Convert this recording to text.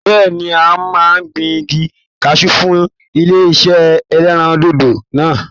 Bẹ́ẹ̀ni, ń ò máa gbin igi kaṣú fún ilé iṣé ẹlẹ́rìndòdò náà.